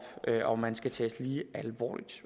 og man skal tages lige alvorligt